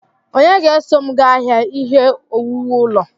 Onye ga-eso m gaa ahịa ihe owuwu ulo?